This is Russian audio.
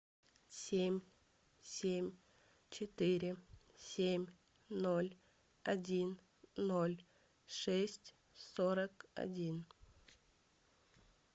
семь семь четыре семь ноль один ноль шесть сорок один